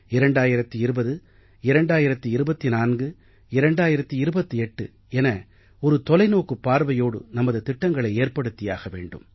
2020 2025 2028 என ஒரு தொலைநோக்குப் பார்வையோடு நமது திட்டங்களை ஏற்படுத்தியாக வேண்டும்